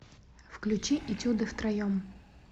включи этюды втроем